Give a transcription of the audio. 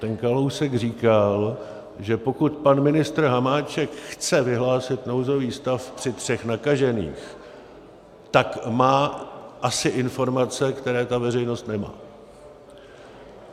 Ten Kalousek říkal, že pokud pan ministr Hamáček chce vyhlásit nouzový stav při třech nakažených, tak má asi informace, které ta veřejnost nemá.